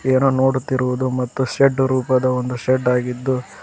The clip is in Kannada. ಏನೋ ನೋಡುತ್ತಿರುವುದು ಮತ್ತು ಶೆಡ್ ರೂಪದ ಒಂದು ಶೆಡ್ ಆಗಿದ್ದು--